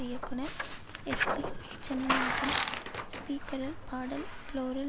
இயக்குனர் எஸ்பி ஜனநாதன் ஸ்பீக்கரில் பாடல் ப்ளோரில்